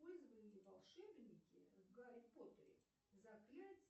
использовали ли волшебники в гарри поттере заклятье